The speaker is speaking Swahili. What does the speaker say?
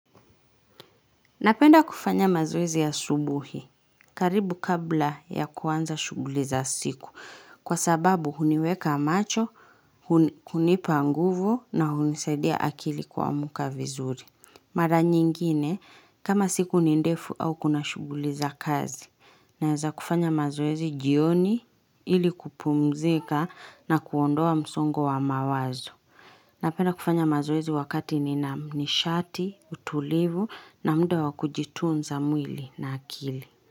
Napenda kufanya mazoezi asubuhi karibu kabla ya kuanza shughuli za siku kwa sababu huniweka macho, hunipa nguvu na hunisaidia akili kuamka vizuri. Mara nyingine kama siku ni ndefu au kuna shughuli za kazi naweza kufanya mazoezi jioni ili kupumzika na kuondoa msongo wa mawazo. Napenda kufanya mazoezi wakati nina. Nishati, utulivu na muda wa kujitunza mwili na akili.